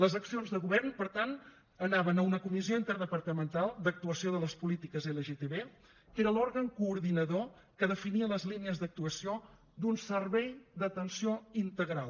les accions de govern per tant anaven a una comissió interdepartamental d’actuació de les polítiques lgtb que era l’òrgan coordinador que definia les línies d’actuació d’un servei d’atenció integral